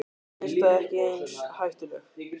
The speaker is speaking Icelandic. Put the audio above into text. Birta: Ekki eins hættuleg?